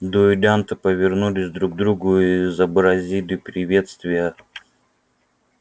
дуэлянты повернулись друг к другу изобразили приветствие